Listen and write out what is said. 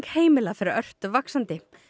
heimila fer ört vaxandi